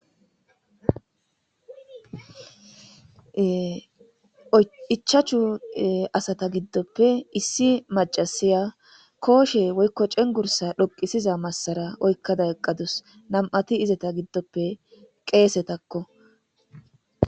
Ichachu asata giddoppe issi macasiya kooshe woykko cengursa dhoqisiza massara oykkada eqqadus nam'ati izeta giddoppe qeesetakko.